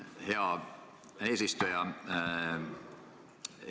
Hea eesistuja!